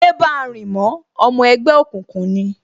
Yé báa rìn mọ́, Ọmọ ẹgbẹ́ òkùnkùn ni!